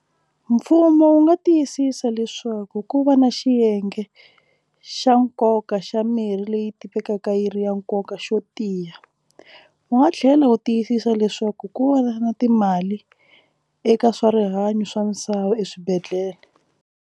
Mfumo wu nga tiyisisa leswaku ku va na xiyenge xa nkoka xa mirhi leyi tivekaka yi ri ya nkoka xo tiya wu nga tlhela wu tiyisisa leswaku ku va na timali eka swa rihanyo swa misava eswibedhlele.